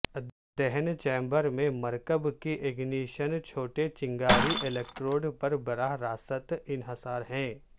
دہن چیمبر میں مرکب کی اگنیشن چھوٹے چنگاری الیکٹروڈ پر براہ راست انحصار ہے